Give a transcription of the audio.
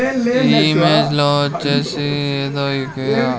ఈ ఇమేజ్ లో వచ్చేసి ఏదో .